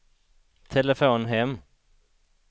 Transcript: telefon hem